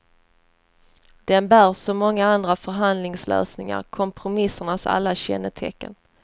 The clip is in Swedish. Den bär som många andra förhandlingslösningar kompromissernas alla kännetecken.